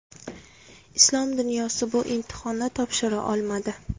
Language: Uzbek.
Islom dunyosi bu imtihonni topshira olmadi.